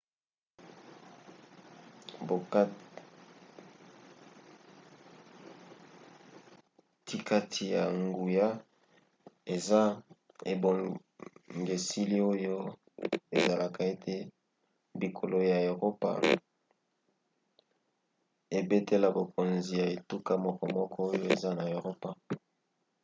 bokatikati ya nguya eza ebongiseli oyo esalaka ete bikolo ya eropa ebatela bokonzi ya etuka mokomoko oyo eza na eropa